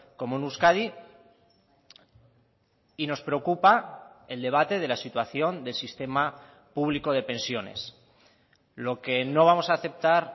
como en euskadi y nos preocupa el debate de la situación del sistema público de pensiones lo que no vamos a aceptar